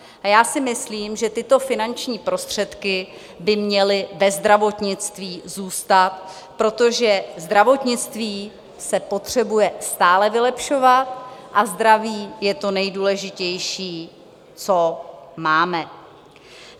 A já si myslím, že tyto finanční prostředky by měly ve zdravotnictví zůstat, protože zdravotnictví se potřebuje stále vylepšovat a zdraví je to nejdůležitější, co máme.